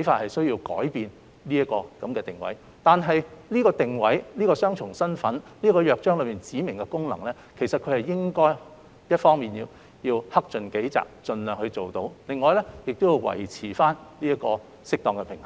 無需要改變這個定位，但就着這個定位、雙重身份及《約章》所訂的指明功能，港台一方面應克盡己責，盡量履行，另一方面則須維持適當的平衡。